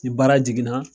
Ni baara jiginna